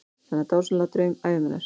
Þennan dásamlegasta draum ævi minnar.